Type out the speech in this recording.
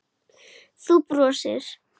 Þú brosir.